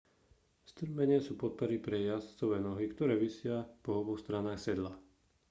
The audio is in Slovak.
strmene sú podpery pre jazdcove nohy ktoré visia po oboch stranách sedla